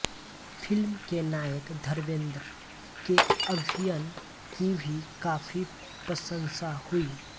film के नायक धर्मेंद्र के अभिनय की भी काफी प्रशंसा हुई